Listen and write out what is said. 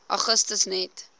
augustus net